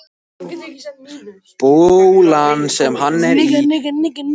Bolurinn, sem hann er í, er orðinn blautur í handarkrikunum.